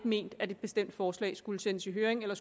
ment at et bestemt forslag ikke skulle sendes til høring eller